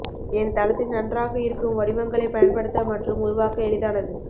என் தளத்தில் நன்றாக இருக்கும் வடிவங்களைப் பயன்படுத்த மற்றும் உருவாக்க எளிதானது